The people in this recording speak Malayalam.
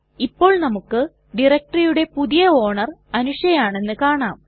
ഇപ്പോൾ നമുക്ക് directoryയുടെ പുതിയ ഓണർ അനുഷ ആണെന്ന് കാണാം